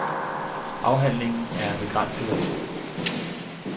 Afhandlingen er af begrænset værdi.